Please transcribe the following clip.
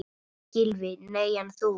Gylfi: Nei en þú?